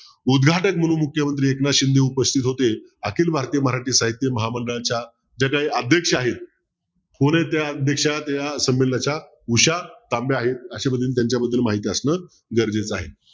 उदघाटक म्ह्णून मुख्यमंत्री एकनाथ शिंदे उपस्तित होते आखिल भारतीय मराठी साहित्य महामंडळाच्या ज्या काही अध्यक्ष आहेत कोण आहे त्या अध्यक्ष त्या संमेलाच्या उषा तांबे आहेत अशापद्धतीने त्यांच्याबद्दल माहित असणं गरजेचं आहे.